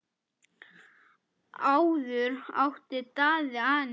Áður átti Daði Anítu.